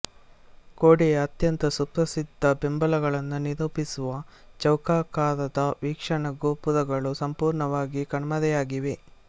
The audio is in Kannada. ಗೋಡೆಯ ಅತ್ಯಂತ ಸುಪ್ರಸಿದ್ಧ ಬಿಂಬಗಳನ್ನು ನಿರೂಪಿಸುವ ಚೌಕಾಕಾರದ ವೀಕ್ಷಣಾ ಗೋಪುರಗಳು ಸಂಪೂರ್ಣವಾಗಿ ಕಣ್ಮರೆಯಾಗಿವೆ